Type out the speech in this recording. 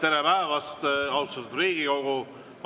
Tere päevast, austatud Riigikogu!